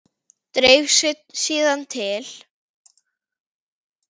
Dreif sig síðan til